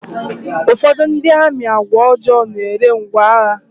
Ụfọdụ ndị amị àgwà ọjọọ n'ere ngwá agha.